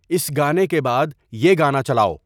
اس گانے کے بعد یہ گانا چلاؤ